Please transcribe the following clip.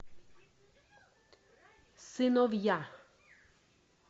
сыновья